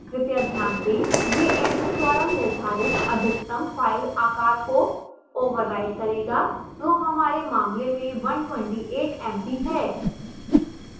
कृपया ध्यान दें